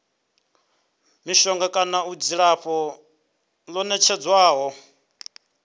mishonga kana dzilafho ḽo nekedzwaho